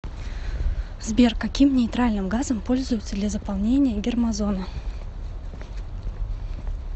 сбер каким нейтральным газом пользуются для заполнения гермозоны